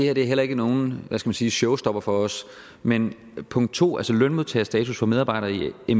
er heller ikke nogen hvad skal man sige showstopper for os men punkt to altså lønmodtagerstatus for medarbejdere i